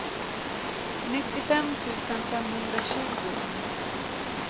nittiofem tusen femhundratjugo